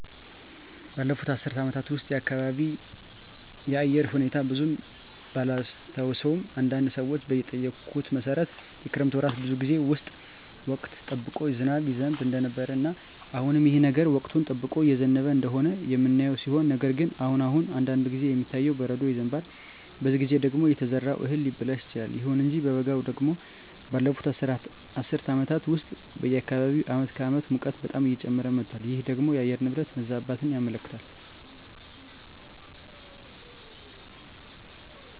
ባለፉት አስር አመታት ውስጥ የአካባቢየ የአየር ሁኔታ ብዙም ባላስታውሰውም አንዳንድ ሰዎችን በጠየኩት መሠረት የክረምት ወራት ጌዜ ውስጥ ወቅቱን ጠብቆ ዝናብ ይዘንብ እንደነበረ እና አሁንም ይህ ነገር ወቅቱን ጠብቆ እየዘነበ እንደሆነ የምናየው ሲሆን ነገር ግን አሁን አሁን አንዳንድ ጊዜ የሚታየው በረዶ ይዘንባል በዚህ ጊዜ ደግሞ የተዘራው እህል ሊበላሽ ይችላል። ይሁን እንጂ በበጋው ደግሞ ባለፋት አስር አመታት ውስጥ በአካባቢየ አመት ከአመት ሙቀቱ በጣም እየጨመረ መጧል ይህ ደግሞ የአየር ንብረት መዛባትን ያመለክታል